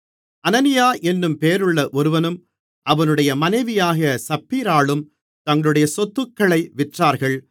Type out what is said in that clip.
அனனியா என்னும் பேருள்ள ஒருவனும் அவனுடைய மனைவியாகிய சப்பீராளும் தங்களுடைய சொத்துக்களை விற்றார்கள்